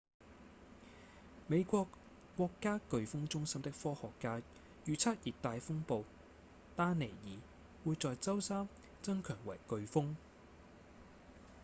美國國家颶風中心的科學家預測熱帶風暴丹妮爾會在周三增強為颶風